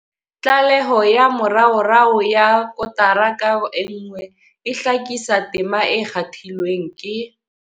Tlaleho ya moraorao ya kotara ka nngwe e hlakisa tema e kgathilweng ke.